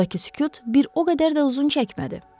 Aradakı sükut bir o qədər də uzun çəkmədi.